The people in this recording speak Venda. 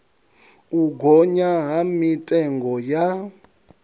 u gonya ha mitengo ya